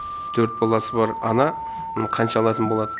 төрт баласы бар ана қанша алатын болады